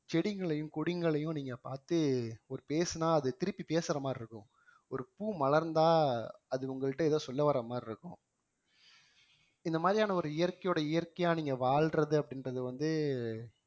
செடிங்களையும் கொடிங்களையும் நீங்க பார்த்து ஒரு பேசுனா அது திருப்பி பேசுற மாதிரி இருக்கும் ஒரு பூ மலர்ந்தா அது உங்கள்ட்ட ஏதோ சொல்ல வர மாதிரி இருக்கும் இந்த மாதிரியான ஒரு இயற்கையோட இயற்கையா நீங்க வாழ்றது அப்படின்றது வந்து